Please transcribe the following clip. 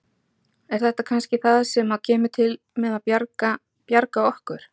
En það sýnir hina geysilegu ritiðju þjóðarinnar að eftir eyðingu tímans eru nú í Landsbókasafni